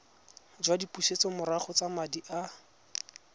jwa dipusetsomorago tsa madi a